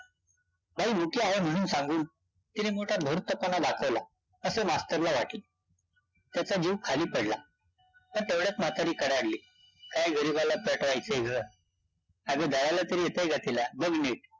बाई मुकी हाय म्हणून सांगून तिने मोठा धूर्तपणा दाखवला असं मास्तरला वाटलं, त्याचा जीव खाली पडला, आणि तेवढ्यात म्हातारी कडाडली कायं गरीबाला पेटवायचं गं, अग दळायला तरी येतयं का तिला, बघ नीटं